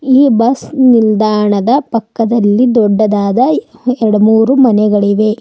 ಈ ಬಸ್ ನಿಲ್ದಾಣದ ಪಕ್ಕದಲ್ಲಿ ದೊಡ್ಡದಾದ ಹೇ ಎಡ ಮೂರು ಮನೆಗಳಿವೆ.